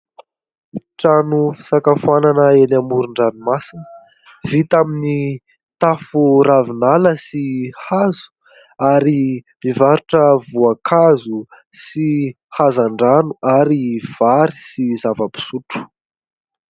Trano fisakafoanana eny amoron-dranomasina, vita amin'ny tafo ravinala sy hazo ary mivarotra voankazo sy hazan-drano ary vary sy zava-pisotro.